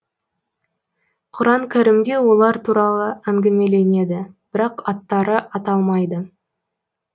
құран кәрімде олар туралы әңгімеленеді бірақ аттары аталмайды